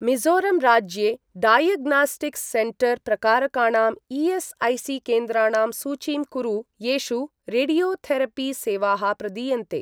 मिज़ोरम् राज्ये diagnostics centre प्रकारकाणां ESIC. केन्द्राणां सूचीं कुरु येषु रेडियोथेरपि सेवाः प्रदीयन्ते।